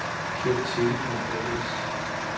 Kirk Telecom A/S